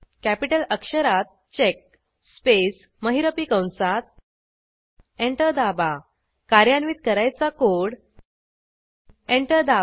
capital अक्षरात check space महिरपी कंसात एंटर दाबा कार्यान्वित करायचा कोड एंटर दाबा